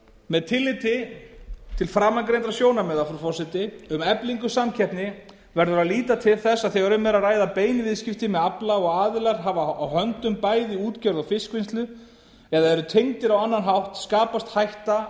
með tilliti til framangreindra sjónarmiða um eflingu samkeppni verður að líta til þess að þegar um er að ræða bein viðskipti með afla og aðilar hafa á höndum bæði útgerð og fiskvinnslu eða eru tengdir á annan hátt skapast hætta